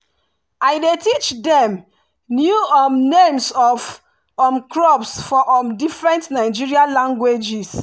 i dey teach dem new um names of um crops for um different nigerian languages.